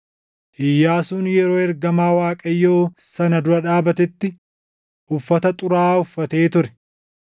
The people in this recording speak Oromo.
Iyyaasuun yeroo ergamaa Waaqayyoo sana dura dhaabatetti uffata xuraaʼaa uffatee ture.